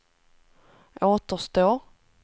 återstår